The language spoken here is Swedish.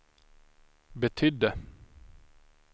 betydde